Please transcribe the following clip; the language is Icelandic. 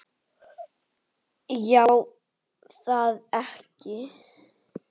Já er það ekki?